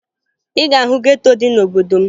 Ị ga-ahụ geto dị n'obodo m